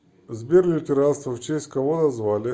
сбер лютеранство в честь кого назвали